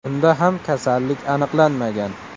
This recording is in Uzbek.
Unda ham kasallik aniqlanmagan.